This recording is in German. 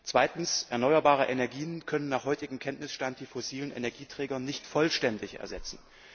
Zweitens können erneuerbare Energien nach heutigem Kenntnisstand die fossilen Energieträger nicht vollständig ersetzen.